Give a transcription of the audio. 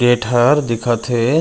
Gate हर दिखत हे।